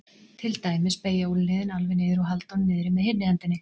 Til dæmis beygja úlnliðinn alveg niður og halda honum niðri með hinni hendinni.